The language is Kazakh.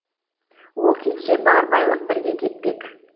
ол кетсе бар байлық бірге кетпек